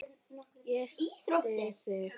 Ég styð þig.